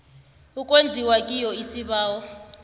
okwenziwa kiyo isibawo